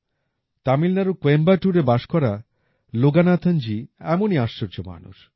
তামিলনাড়ুর কোয়েম্বাটুরে বাস করা লোগনাথনজি এমনই আশ্চর্য মানুষ